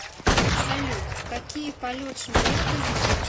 салют какие полет шмеля ты знаешь